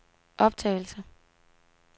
optagelse